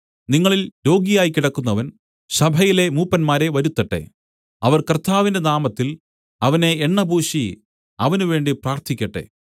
നിങ്ങളിൽ രോഗിയായി കിടക്കുന്നവൻ സഭയിലെ മൂപ്പന്മാരെ വരുത്തട്ടെ അവർ കർത്താവിന്റെ നാമത്തിൽ അവനെ എണ്ണപൂശി അവന് വേണ്ടി പ്രാർത്ഥിക്കട്ടെ